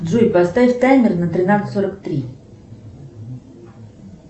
джой поставь таймер на тринадцать сорок три